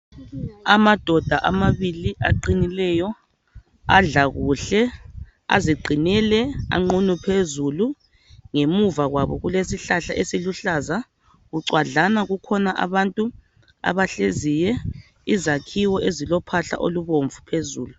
Amadoda amabili aqinileyo adla kuhle aziqinele anqunu phezulu ngemuva kwabo kulesihlahla esiluhlaza bucwadlana kukhona abantu abahleziyo izakhiwo ezilophahla olubomvu phezulu.